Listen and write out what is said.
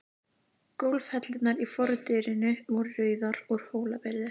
Gólfhellurnar í fordyrinu voru rauðar, úr Hólabyrðu.